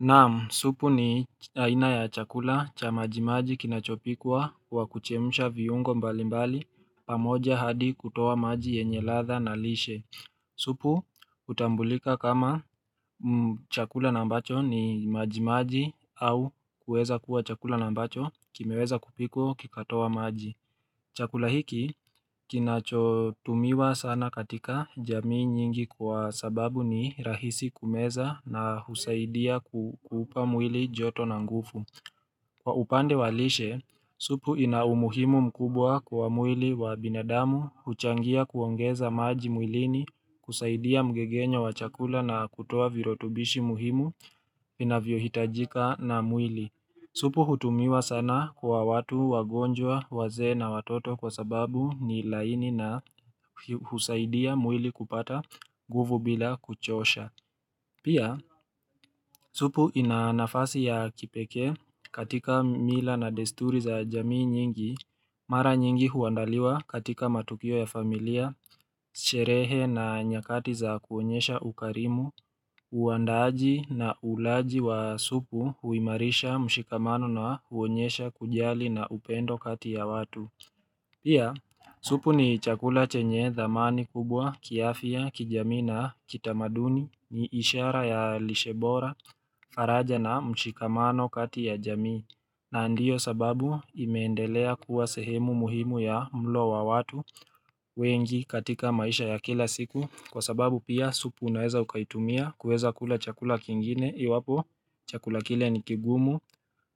Naam, supu ni aina ya chakula cha maji maji kinachopikwa kwa kuchemsha viungo mbali mbali pamoja hadi kutoa maji yenye ladha na lishe. Supu hutambulika kama chakula na ambacho ni majimaji au kueza kuwa chakula na ambacho kimeweza kupikwa kikatoa maji. Chakula hiki kinachotumiwa sana katika jamii nyingi kwa sababu ni rahisi kumeza na husaidia kukuupa mwili joto na ngufu. Kwa upande wa lishe, supu ina umuhimu mkubwa kwa mwili wa binadamu, huchangia kuongeza maji mwilini, kusaidia mgegenyo wa chakula na kutoa virutubishi muhimu vinavyohitajika na mwili. Supu hutumiwa sana kwa watu wagonjwa wazee na watoto kwa sababu ni laini na husaidia mwili kupata nguvu bila kuchosha. Pia, supu ina nafasi ya kipekee katika mila na desturi za jamii nyingi, mara nyingi huandaliwa katika matukio ya familia, sherehe na nyakati za kuonyesha ukarimu, uandaaji na ulaaji wa supu huimarisha mshikamano na huonyesha kujali na upendo kati ya watu. Pia, supu ni chakula chenye dhamani kubwa, kiafya, kijamii na kitamaduni, ni ishara ya lishe bora, faraja na mshikamano kati ya jamii, na ndiyo sababu imeendelea kuwa sehemu muhimu ya mlo wa watu wengi katika maisha ya kila siku, kwa sababu pia supu unaeza ukaitumia kueza kula chakula kingine. Iwapo, chakula kile ni kigumu.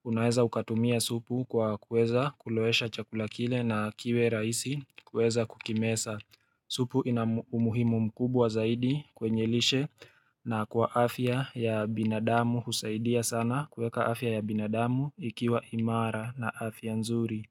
Unaeza ukatumia supu kwa kueza kulowesha chakula kile na kiwe rahisi kueza kukimeza. Supu ina umuhimu mkubwa zaidi kwenye lishe na kwa afya ya binadamu husaidia sana kueka afya ya binadamu ikiwa imara na afya nzuri.